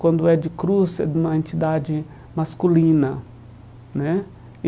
Quando é de cruz, é de uma entidade masculina né.